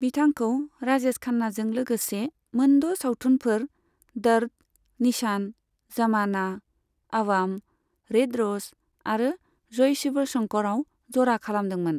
बिथांखौ राजेश खान्नाजों लोगोसे मोनद' सावथुनफोर, दर्द, निशान, जमाना, आवाम, रेड र'ज आरो जय शिव शंकराव जरा खालामदोंमोन।